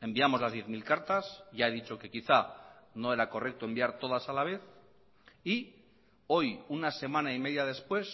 enviamos las diez mil cartas ya he dicho que quizá no era correcto enviar todas a la vez y hoy una semana y media después